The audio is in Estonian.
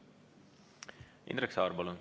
Indrek Saar, palun!